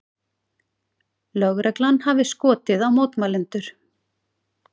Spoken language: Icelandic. Lögreglan hafi skotið á mótmælendur